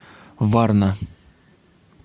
варна